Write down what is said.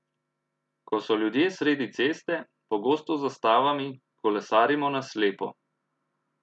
Ko so ljudje sredi ceste, pogosto z zastavami, kolesarimo na slepo.